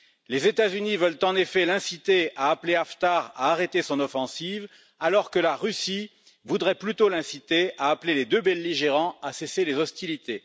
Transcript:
Les États Unis veulent en effet l'inciter à appeler Haftar à arrêter son offensive, alors que la Russie voudrait plutôt l'inciter à appeler les deux belligérants à cesser les hostilités.